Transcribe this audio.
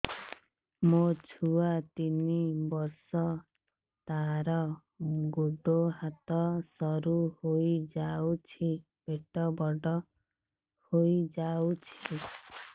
ମୋ ଛୁଆ ତିନି ବର୍ଷ ତାର ଗୋଡ ହାତ ସରୁ ହୋଇଯାଉଛି ପେଟ ବଡ ହୋଇ ଯାଉଛି